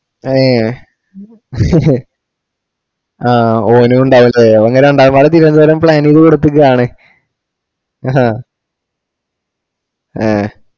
അയേ ആ ഓനും ഇണ്ടാവൂലേ ഇങ്ങള് രണ്ടാളുംപാടെ തിരോന്തോരം plan ചെയ്ത് കൊടുത്തുക്കാണ്